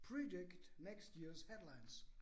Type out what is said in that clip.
Predict next year's headlines